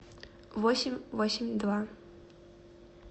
восемь восемь два